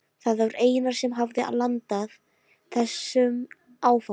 Það var Einar sem hafði landað þessum áfanga.